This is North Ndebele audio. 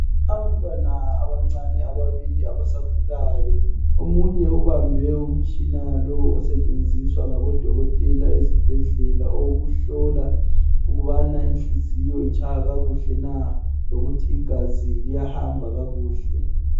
Abantwana abancane ababili abasakhulayo omunye ubambe umtshina lo osetshenziswa ngabodokodela ezibhedlela owokuhlola ukubana inhliziyo itshaya kakuhle na lokuthi igazi liyahamba kakuhle.